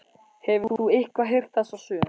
Hefur þú eitthvað heyrt þessa sögu?